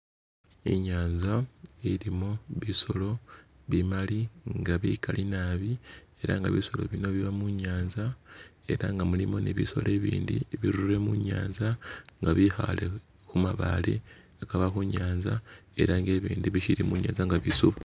Inyanza ililimo bisolo bimali nga bikali nabi, ela nga bisolo bino biba mu nyanza ela nga mulimo ni bisolo ibindi ibirurire mu nyanza nga bikhale khu mabale lubeka lwe nyanza ela nga bibindi bisili mu nyanza nga bisuba.